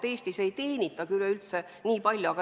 Eestis ei teenitagi nii palju.